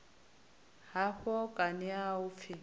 hafho kani a u pfi